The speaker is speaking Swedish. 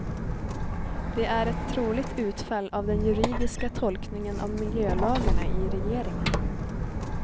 Det är ett troligt utfall av den juridiska tolkningen av miljölagarna i regeringen.